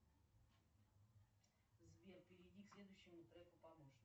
сбер перейди к следующему треку